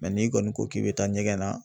n'i kɔni ko k'i bɛ taa ɲɛgɛn na